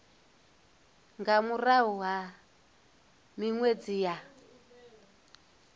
nga murahu ha minwedzi ya